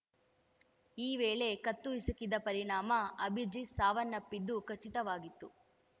ಈ ವೇಳೆ ಕತ್ತು ಹಿಸುಕಿದ ಪರಿಣಾಮ ಅಭಿಜಿತ್‌ ಸಾವನ್ನಪ್ಪಿದ್ದು ಖಚಿತವಾಗಿತ್ತು